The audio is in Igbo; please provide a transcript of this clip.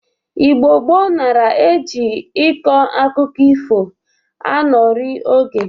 Igbo gboo nara e ji ịkọ akụkọ ifo anọrị oge